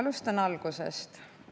Alustan algusest.